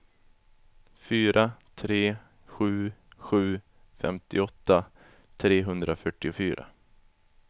fyra tre sju sju femtioåtta trehundrafyrtiofyra